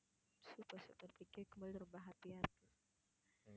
super super கேட்கும் போதே ரொம்ப happy ஆ இருக்கு